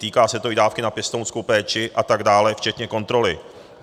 Týká se to i dávky na pěstounskou péči a tak dále, včetně kontroly.